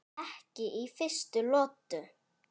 Ekki í fyrstu lotu!